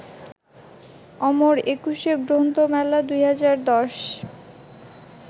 অমর একুশে গ্রন্থমেলা ২০১০